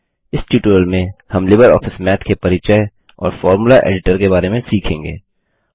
इस ट्यूटोरियल में हम लिबर ऑफिस माथ के परिचय और फॉर्मूला एडिटर के बारे में सीखेंगे